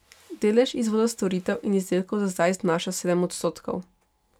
Delež izvoza storitev in izdelkov za zdaj znaša sedem odstotkov.